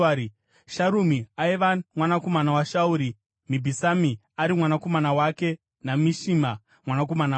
Sharumi aiva mwanakomana waShauri, Mibhisami ari mwanakomana wake naMishima mwanakomana wake.